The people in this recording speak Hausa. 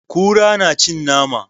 Kura na cin nama.